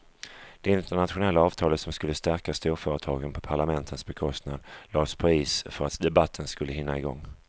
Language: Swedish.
Det internationella avtalet som skulle stärka storföretagen på parlamentens bekostnad lades på is för att debatten skulle hinna igång.